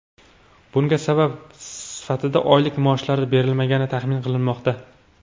Bunga sabab sifatida oylik maoshlari berilmagani taxmin qilinmoqda.